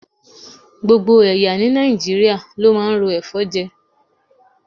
Gbogbo ẹ̀yà ní Nàìjíríà ló máa ń ro ẹ̀fọ́ jẹ.